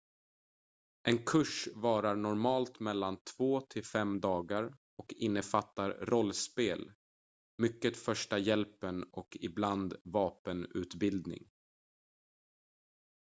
en kurs varar normalt mellan 2-5 dagar och innefattar rollspel mycket första hjälpen och ibland vapenutbildning